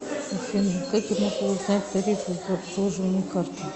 афина как я могу узнать тарифы за обслуживание карты